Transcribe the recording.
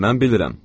Mən bilirəm.